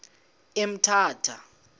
emthatha